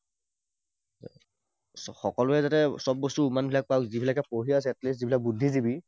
সকলোৱে যাতে সব বস্তু উমানবিলাক পাওক, যিবিলাকে পঢ়ি আছে, at least যিবিলাক বুদ্ধিজীৱী